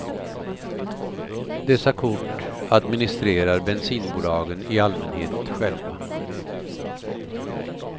Dessa kort administerar bensinbolagen i allmänhet själva.